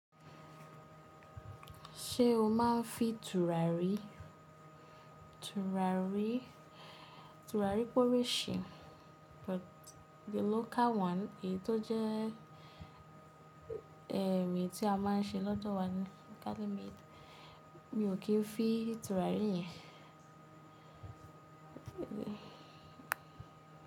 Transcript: Ṣé o máa ń fi tùràrí? Tùràrí, tùràrí pe oríṣi but the local one èyí tó jẹ́ ẹ̀m eyi tí a máa ń ṣe lọ́dọ̀ wa ni locally made. Mi ò kí ń fi tùràrí yẹn.